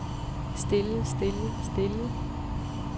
stille stille stille